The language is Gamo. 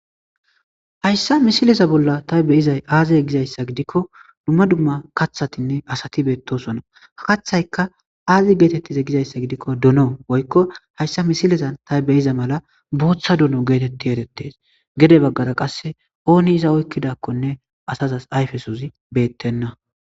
Hayssa misileza bolla ta beizay aazize gizayssa gidikko dumma dumma kathatinne asati beettosona. Kathayka aazi geetettize gizayssa gidikko duno woykko hayssa misilezan tay be7iza mala booththa duno geetetti erettes. Gede baggara qasse ooni iza oykkidakkonne asazas ayfesozi beettenna.